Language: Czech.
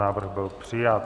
Návrh byl přijat.